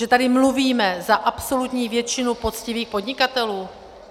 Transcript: Že tady mluvíme za absolutní většinu poctivých podnikatelů?